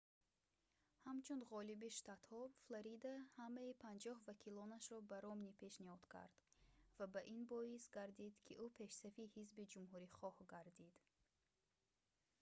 ҳамун ғолиби штатҳо флорида ҳамаи панҷоҳ вакилонашро ба ромни пешниҳод кард ва ин боис гардид ки ӯ пешсафи ҳизби ҷумҳурихоҳ гардид